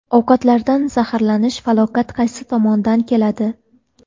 Ovqatlardan zaharlanish: falokat qaysi tomondan keladi?.